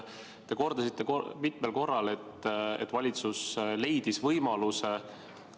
Te kordasite mitmel korral, et valitsus leidis võimaluse.